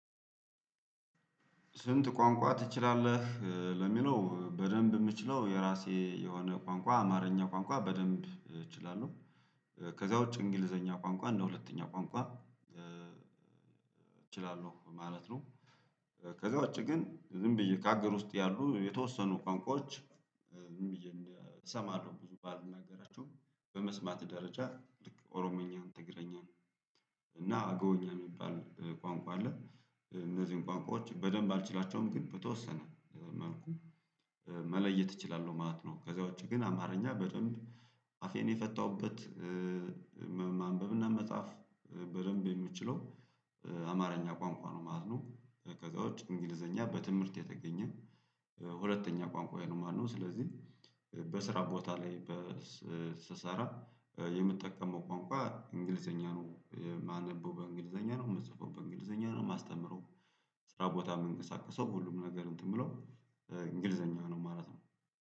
ስንት ቋንቋ ትችላለህ? ለሚለው በደንብ የምችለው የራሴ የሆነ ቋንቋ አማርኛ ቋንቋ በደንብ እችላለሁ። ከዛ ውጪ እንግሊዘኛ ቋንቋ እንደ ሁለተኛ ቋንቋ እችላለሁ ማለት ነው። ከዛ ውጪ ግን ዝም ብዬ ከአገር ውስጥ ያሉ የተወሰኑ ቋንቋዎች። እሰማለሁ ብዙ ባልናገራቸው በመስማት ደረጃ ልክ ኦሮምኛን ትግረኛን እና አገውኛ የሚባል ቋንቋ አለ። እነዚህን ቋንቋዎች በደንብ አልችላቸውም ግን በተወሰነ መልኩ መለየት እችላለሁ ማለት ነው። ከዛ ውጪ ግን አማርኛ በደንብ አፌን የፈታሁበት። ማንበብና መጽሐፍ በደንብ የምችለው አማርኛ ቋንቋ ነው ማለት ነው። ከዛ ውጪ እንግሊዘኛ በትምህርት የተገኘ ሁለተኛ ቋንቋዬ ነው ማለት ነው። ስለዚህ በስራ ቦታ ላይ ስሰራ የምጠቀመው ቋንቋ እንግሊዘኛ ነው ማነበው በእንግሊዘኛ ነው ምጽፈው በእንግሊዘኛ ነው ማስተምረው። ስራ ቦታ የምንቀሳቀሰው ሁሉም ነገር እንትን ብሎ እንግሊዘኛ ነው ማለት ነው